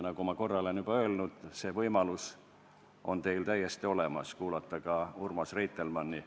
Nagu ma korra olen juba öelnud, teil on täiesti olemas võimalus kuulata Urmas Reitelmanni.